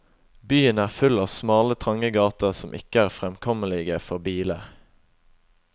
Byen er full av smale trange gater som ikke er fremkommelige for biler.